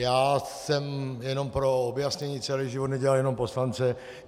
Já jsem, jenom pro objasnění, celý život nedělal jenom poslance.